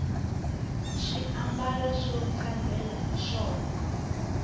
swi ambala swo hlambela hiswona